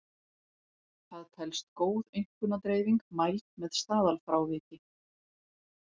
Það telst góð einkunnadreifing mæld með staðalfráviki.